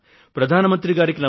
hello ప్రధాన మంత్రి గారూ